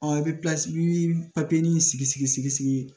i bɛ sigi sigi sigi sigi